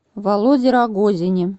володе рогозине